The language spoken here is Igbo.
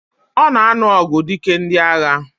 Ona anu ogu dike ndi agha.